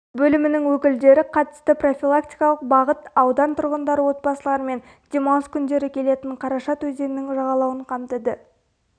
бөлімінің өкілдері қатысты профилактикалық бағыт аудан тұрғындары отбасыларымен демалыс күндері келетін қарашат өзенінің жағалауын қамтыды